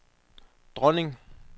dronning